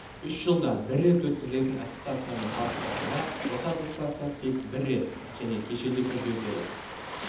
үш жылда бір рет өткізілетін аттестациямен салыстырғанда осы аттестация тек бір рет және кешенді түрде өтеді